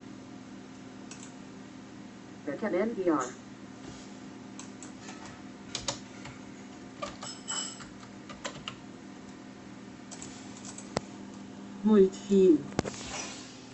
мультфильм